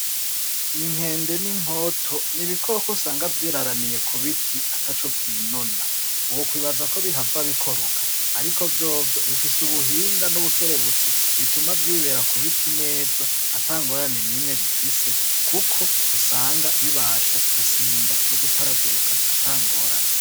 Inkende n'inkoto n'ibikoko usanga vyiraramiye k'ubiti ataco vyinona wokwibaza ko bihava bikoroka ariko vyovyo bifise ubuhinga n'ubukerebutsi bituma vyibera ku biti neza ata ngorane nimwe bifise kuko usanga bibasha gusimba no gutaragurika atangorane.